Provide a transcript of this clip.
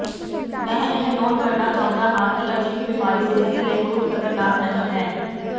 ਮੈਂ ਇਹ ਨੋਟ ਕਰਨਾ ਚਾਹੁੰਦਾ ਹਾਂ ਕਿ ਅਜਿਹੀ ਬੀਮਾਰੀ ਜ਼ਿੰਦਗੀ ਲਈ ਬਹੁਤ ਖ਼ਤਰਨਾਕ ਨਹੀਂ ਹੈ